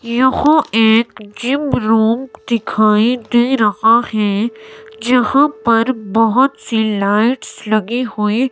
यहां एक gym room दिखाएं दे रहा है। जहां पर बहोत सी लाइट्स लगी हुई--